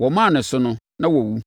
Wɔmaa ne so no, na wawu.